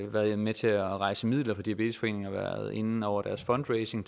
været med til at rejse midler for diabetesforeningen og har været inde over deres fundraising